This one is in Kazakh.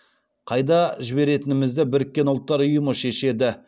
қайда жіберетінімізді біріккен ұлттар ұйымы шешеді